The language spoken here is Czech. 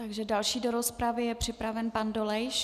Takže další do rozpravy je připravený pan Dolejš.